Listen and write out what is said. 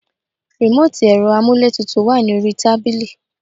Remoti ẹ̀rọ amuletutu wà ní orí tábìlì